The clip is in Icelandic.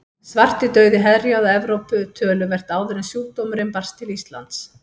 Svartidauði herjaði á Evrópu töluvert áður en sjúkdómurinn barst til Íslands.